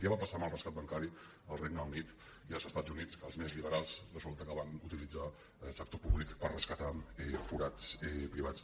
ja va passar amb el rescat bancari al regne unit i als estats units que els més liberals resulta que van utilitzar sector públic per rescatar forats privats